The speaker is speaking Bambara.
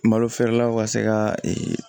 Malo feerelaw ka se ka